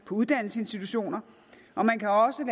uddannelsesinstitutionerne og man kan også